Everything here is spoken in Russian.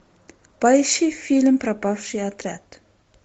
поищи фильм пропавший отряд